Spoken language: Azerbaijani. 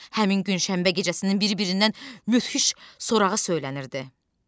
Həmin gün şəhərin və gecəsinin bir-birindən möhtəşəm sorağı söylənilirdi.